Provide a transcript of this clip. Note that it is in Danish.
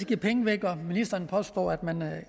give penge væk og ministeren påstod